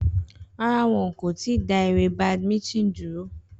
Rárá, wọn kò tí ì dá eré badminton dúró.